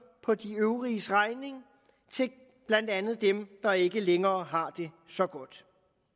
på de øvriges regning blandt andet dem der ikke længere har det så godt